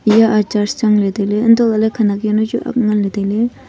eya a church changley tailey untohley khenak yawnu chu ak nganley tailey.